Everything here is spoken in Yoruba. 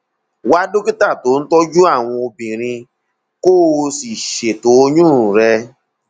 wá dókítà tó ń tọjú àwọn obìnrin kó o sì ṣètò oyún rẹ